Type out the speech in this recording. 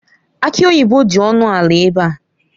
Aki oyibo dị ọnụ ala ebe a.